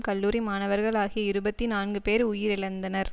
கல்லூரி மாணவர்கள் ஆகிய இருபத்தி நான்கு பேர் உயிரிழந்தனர்